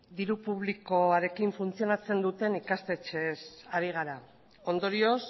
diru publikoarekin funtzionatzen duten ikastetxeez ari gara ondorioz